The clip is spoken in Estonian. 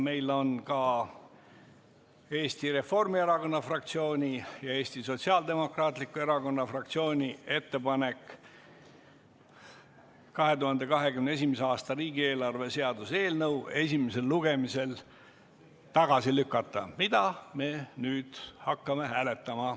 Meil on ka Eesti Reformierakonna fraktsiooni ja Eesti Sotsiaaldemokraatliku Erakonna fraktsiooni ettepanek 2021. aasta riigieelarve seaduse eelnõu esimesel lugemisel tagasi lükata, mida me nüüd hakkame hääletama.